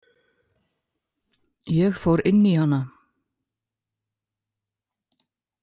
Ég fór inn í hana.